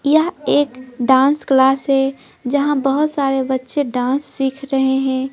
यह एक dance class है जहां बहुत सारे बच्चे डांस सीख रहे हैं।